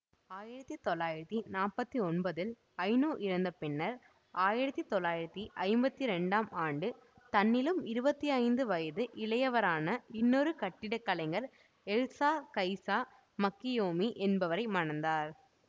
ஆயிரத்தி தொள்ளாயிரத்தி நாற்பத்தி ஒன்பதில் ஐனோ இறந்த பின்னர் ஆயிரத்தி தொள்ளாயிரத்தி ஐம்பத்தி இரண்டாம் ஆண்டு தன்னிலும் இருபத்தி ஐந்து வயது இளையவரான இன்னொரு கட்டிடக்கலைஞர் எல்சா கைசா மக்கினியேமி என்பவரை மணந்தார்